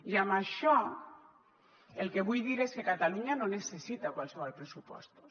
i amb això el que vull dir és que catalunya no necessita qualssevol pressupostos